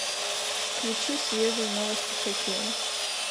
включи свежие новости хоккея